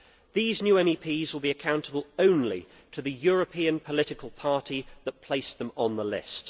These new MEPS will be accountable only to the European political party that placed them on the list.